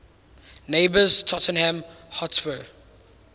neighbours tottenham hotspur